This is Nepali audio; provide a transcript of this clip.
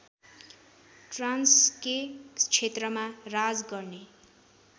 ट्रान्स्के क्षेत्रमा राज गर्ने